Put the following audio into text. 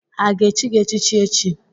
Ha ga-echi gị echichi echi?